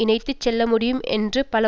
இணைத்துச் செல்லமுடியும் என்று பல